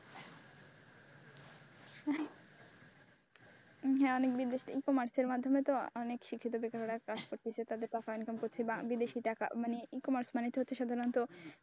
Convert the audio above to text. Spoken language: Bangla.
e commerce এর মাধ্যমে তো অনেক শিক্ষিত বেকারেরা কাজ করতেছে তাদের টাকা ইনকাম করছে বিদেশি টাকা মানে e commerce মানে তো হচ্ছে সাধারণত,